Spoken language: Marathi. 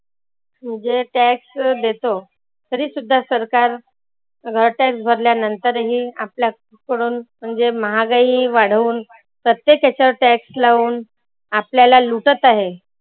जे tax देतो तरी सुद्धा सरकार घाट्यात भरल्यानंतर ही आपल्याकडून म्हणजे महागाई वाढवून प्रत्येक याच्यावर tax लावून आपल्याला लुटत आहे.